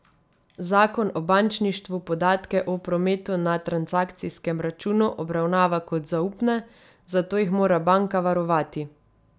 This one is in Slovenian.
Zakon o bančništvu podatke o prometu na transakcijskem računu obravnava kot zaupne, zato jih mora banka varovati.